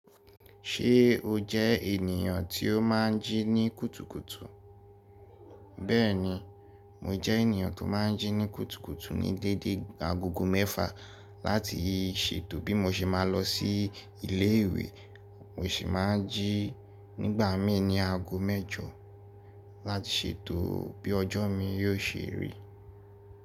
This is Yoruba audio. Ṣé o jẹ́ ènìyàn tí ó má n jí ní kùtùkùtù? Bẹ́ẹ̀ni, mo jẹ́ ènìyàn tó má ń jí ní kùtùkùtù ní déédé agogo mẹ́fà láti ṣe ètò bí mo ṣe máa lọ sí ilé-ìwé, mo sì máa ń jí nígbà mi ní agogo mẹ́jọ láti ṣe ètò bí ọjọ́ mi yóò ṣe rí.